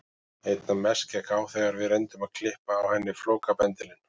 Einna mest gekk á þegar við reyndum að klippa á henni flókabendilinn.